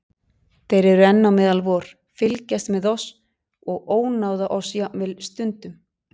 Þeir eru enn á meðal vor, fylgjast með oss og ónáða oss jafnvel stundum.